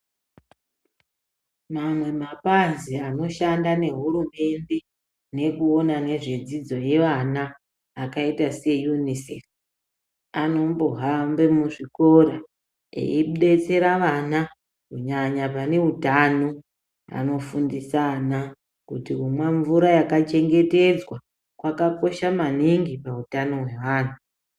Mamwe mapazi anoshanda nehurumende nekuona nezve dzidzo yevana akaita se UNICEF anombohambe muzvikora aidetsera vana kunyanye vane utano ,anofundisa ana kuti kumwa mvura yakachengetedzwa kwakosha maningi pautano hweantu.